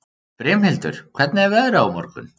Brimhildur, hvernig er veðrið á morgun?